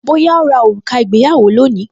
Bóyá ó ra òrùka ìgbéyàwó lónìí